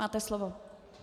Máte slovo.